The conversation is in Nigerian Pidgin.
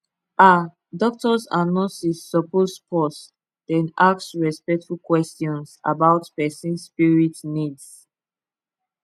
ah doctors and nurses suppose pause then ask respectful questions about person spirit needs